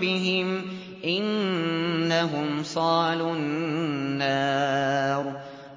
بِهِمْ ۚ إِنَّهُمْ صَالُو النَّارِ